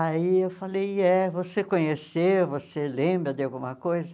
Aí eu falei, é, você conheceu, você lembra de alguma coisa?